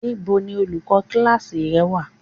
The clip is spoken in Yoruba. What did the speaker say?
Níbo ni olùkọ́ kíláákì wà?